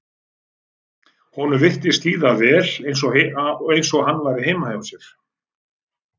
Honum virtist líða vel eins og hann væri heima hjá sér.